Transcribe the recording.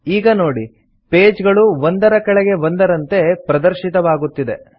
ಈಗ ನೋಡಿ ಪೇಜ್ ಗಳು ಒಂದರ ಕೆಳಗೆ ಒಂದರಂತೆ ಪ್ರದರ್ಶಿತವಾಗುತ್ತಿದೆ